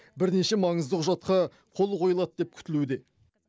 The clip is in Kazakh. бірнеше маңызды құжатқа қол қойылады деп күтілуде